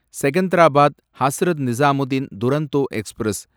Secunderabad Hazrat Nizamuddin Duronto express